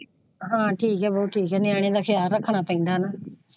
ਹਾਂ ਠੀਕ ਹੈ ਬਹੁ ਠੀਕ ਨਿਆਣਿਆਂ ਦਾ ਖ਼ਿਆਲ ਰੱਖਣਾ ਪੈਂਦਾ ਹੈ ਨਾ।